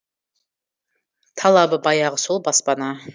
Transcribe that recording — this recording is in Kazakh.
талабы баяғы сол баспана